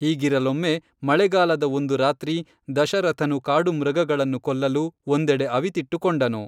ಹೀಗಿರಲೊಮ್ಮೆ ಮಳೆಗಾಲದ ಒಂದು ರಾತ್ರಿ ದಶರಥನು ಕಾಡುಮೃಗಗಳನ್ನು ಕೊಲ್ಲಲು ಒಂದೆಡೆ ಅವಿತಿಟ್ಟು ಕೊಂಡನು